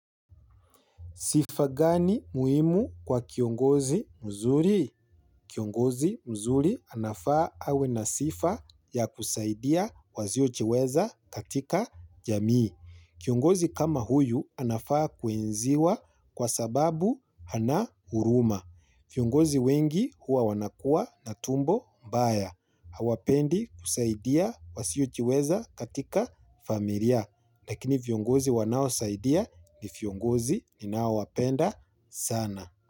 Sifa gani muhimu kwa kiongozi mzuri? Kiongozi mzuri anafaa awe na sifa ya kusaidia waziojiweza katika jamii. Kiongozi kama huyu anafaa kuenziwa kwa sababu ana huruma. Viongozi wengi huwa wanakua na tumbo mbaya. Hawapendi kusaidia wasiojiweza katika familia. Lakini viongozi wanaosaidia ni viongozi ninao wapenda sana.